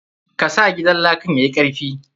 Ka sa gidan lakan yayi karfi.